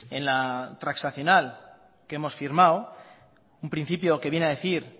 en la transaccional que hemos firmado un principio que viene a decir